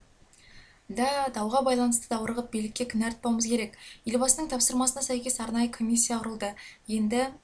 да дауға байланысты даурығып билікке кінә артпауымыз керек елбасының тапсырмасына сәйкес арнайы комиссия құрылды енді